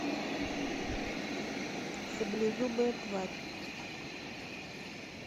саблезубая тварь